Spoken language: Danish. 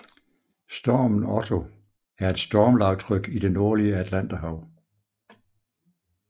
Stormen Otto er et stormlavtryk i det nordlige Atlanterhav